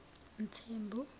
mthembu